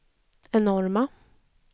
enorma